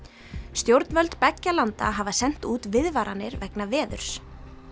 stjórnvöld beggja landa hafa sent út viðvaranir vegna veðurs